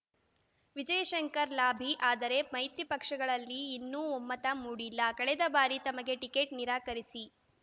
Vijayashankar lobby ಆದರೆ ಮೈತ್ರಿ ಪಕ್ಷಗಳಲ್ಲಿ ಇನ್ನೂ ಒಮ್ಮತ ಮೂಡಿಲ್ಲ ಕಳೆದ ಬಾರಿ ತಮಗೆ ಟಿಕೆಟ್‌ ನಿರಾಕರಿಸಿ